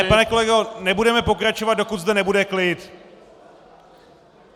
Ne, pane kolego, nebudeme pokračovat, dokud zde nebude klid!